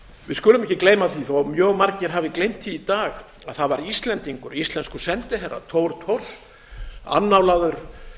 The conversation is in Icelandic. við skulum ekki gleyma því þó að mjög margir hafi gleymt því í dag að það var íslendingur íslenskur sendiherra thor thors annálaður